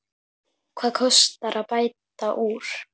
Hvað kostar að bæta úr?